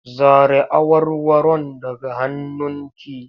Zare awarwaron daga hannunki!